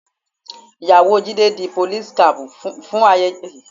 Ìyàwó Jídé di police cap fún ayẹyẹ ọdún tó kọjá